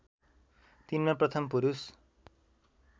तिनमा प्रथम पुरुष